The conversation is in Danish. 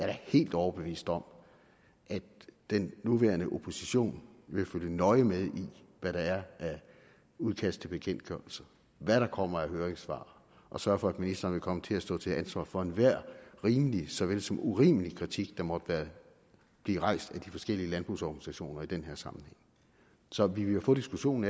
da helt overbevist om at den nuværende opposition vil følge nøje med i hvad der er af udkast til bekendtgørelser hvad der kommer af høringssvar og sørge for at ministeren vil komme til at stå til ansvar for enhver rimelig såvel som urimelig kritik der måtte blive rejst af de forskellige landbrugsorganisationer i den her sammenhæng så vi vil jo få diskussionen